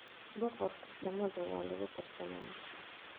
Boqorka samada walakutartamaya